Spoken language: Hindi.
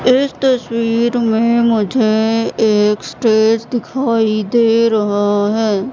इस तस्वीर में मुझे एक स्टेज दिखाई दे रहां हैं।